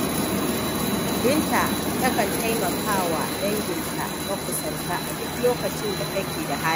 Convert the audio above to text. Binta takan taimaka wa danginta makusanta a duk lokacin da take da hali.